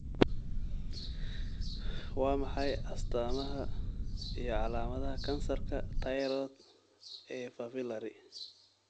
Waa maxay astamaha iyo calaamadaha kansarka tayroodh ee Papillary?